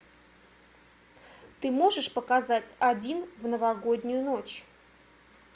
ты можешь показать один в новогоднюю ночь